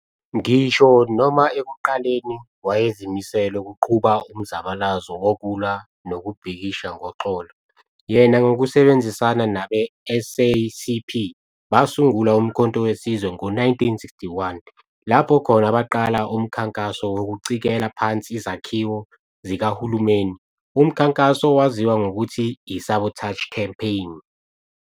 Ngisho noma ekuqaleni wayezimisele ukuqhuba umzabalazo wokulwa nokubhikisha ngoxolo, yena ngokusebenzisana nabe-SACP basungula Umkhonto weSizwe ngo-1961, lapho khona abaqala umkhankaso wokucikela phansi izakhiwo zikahulumeni, umkhankaso owaziwa ngokuthi yi-sabotage campaign.